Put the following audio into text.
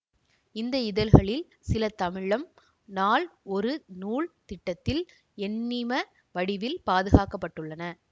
இந்த இதழ்களில் சில தமிழம் நாள் ஒரு நூல் திட்டத்தில் எண்ணிம வடிவில் பாதுகாக்க பட்டுள்ளன